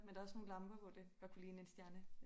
Men der også nogle lamper hvor det godt kunne ligne en stjerne